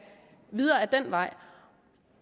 videre ad den vej